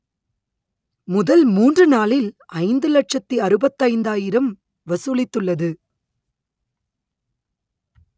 முதல் மூன்று நாளில் ஐந்து லட்சத்தி அறுபத்தைந்தாயிரம் வசூலித்துள்ளது